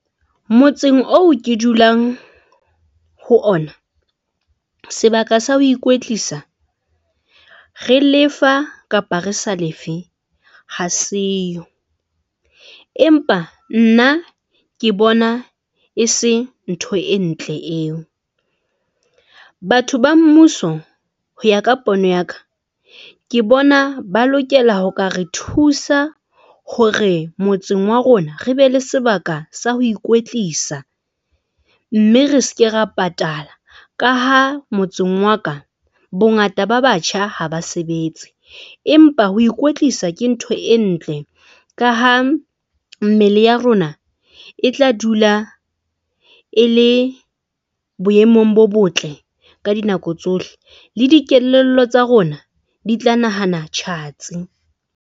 Motseng oo ke dulang ho ona sebaka sa ho ikwetlisa. Re lefa kapa re sa lefe ha seyo, empa nna ke bona e se ntho e ntle eo. Batho ba mmuso ho ya ka pono ya ka, ke bona ba lokela ho ka re thusa hore motseng wa rona re be le sebaka sa ho ikwetlisa mme re seke ra patala. Ka ha motseng wa ka, bongata ba batjha haba sebetse, empa ho ikwetlisa ke ntho e ntle ka ha mme ya rona e tla dula e le boemong bo botle ka dinako tsohle le dikelello tsa rona di tla nahana tjhatsi.